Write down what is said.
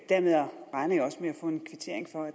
få en kvittering for at